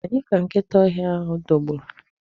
Onye ka nkịta ọhịa dọgburu?